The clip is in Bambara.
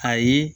Ayi